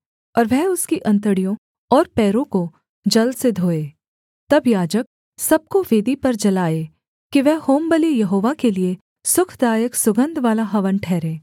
और वह उसकी अंतड़ियों और पैरों को जल से धोए तब याजक सब को वेदी पर जलाए कि वह होमबलि यहोवा के लिये सुखदायक सुगन्धवाला हवन ठहरे